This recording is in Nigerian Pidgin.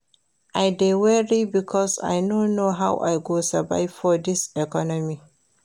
I dey worry because I no know how I go survive for dis economy.